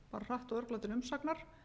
hratt og örugglega til umsagnar